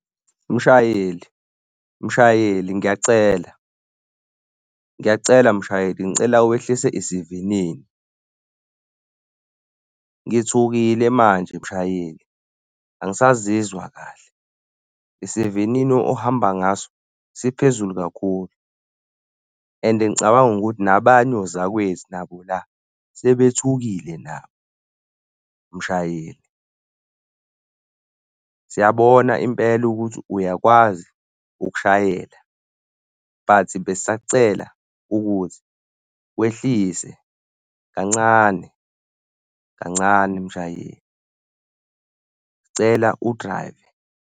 Mshayeli mshayeli ngiyacela. Ngiyacela mshayeli, ngicela wehlise isivinini. Ngithukile manje mshayeli, angisazizwa kahle. Isivinini ohamba ngaso isiphezulu kakhulu. And ngicabanga ukuthi nabanye ozakwethu nabo, la sebethukile nabo mshayeli. Siyabona impela ukuthi uyakwazi ukushayela but besisakucela ukuthi wehlise kancane. Kancane, mshayeli, cela udrayive.